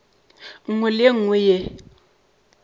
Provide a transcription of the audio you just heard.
nngwe le ye nngwe ye